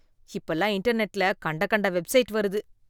இப்ப எல்லாம் இன்டர்நெட்ல கண்ட கண்ட வெப்சைட் வருது.